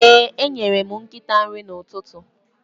Ee, enyere m nkịta nri n'ụtụtụ.